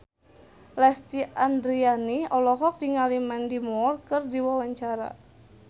Lesti Andryani olohok ningali Mandy Moore keur diwawancara